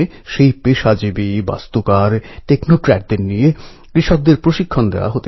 গণেশজীর মূর্তি থেকে তাঁর সাজসজ্জা পূজা সামগ্রী সব পরিবেশবন্ধব হোক